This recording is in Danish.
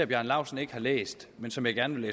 bjarne laustsen ikke har læst men som jeg gerne vil